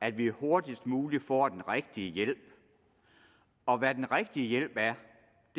at vi hurtigst muligt får den rigtige hjælp og hvad den rigtige hjælp er